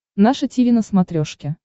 наше тиви на смотрешке